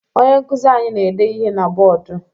Onye nkụzi anyị na-ede ihe na bọọdụ